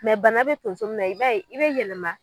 bana bɛ tonso min na i ba ye i bɛ yɛlɛma.